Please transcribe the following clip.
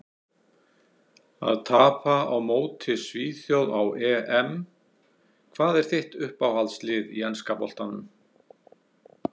Að tapa á móti svíþjóð á EM Hvað er þitt uppáhaldslið í enska boltanum?